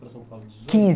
para São Paulo.